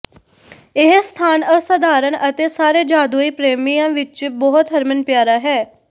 ਇਹ ਸਥਾਨ ਅਸਾਧਾਰਣ ਅਤੇ ਸਾਰੇ ਜਾਦੂਈ ਪ੍ਰੇਮੀਆਂ ਵਿਚ ਬਹੁਤ ਹਰਮਨ ਪਿਆਰਾ ਹੈ